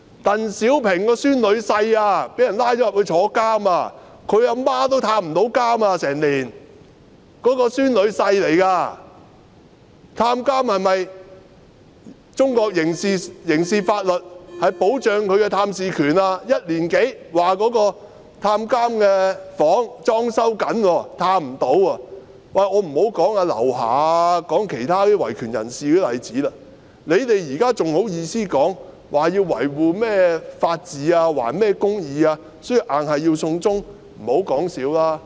當局說探監的房間正在裝修，但裝修了1年多也不能探訪，我也不說劉霞和其他維權人士的例子了。你們現在還好意思說維護法治，還甚麼公義，所以必須"送中"，不要說笑了。